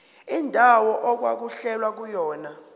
indawo okwakulwelwa kuyona